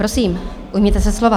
Prosím, ujměte se slova.